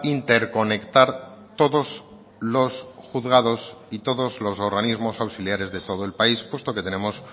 interconectar todos los juzgados y todos los organismos auxiliares de todo el país puesto que tenemos